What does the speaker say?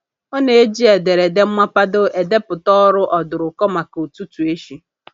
Ọ na-eji ederede mmapado edeputa ọrụ ọdụrụkọ maka ụtụtụ echi.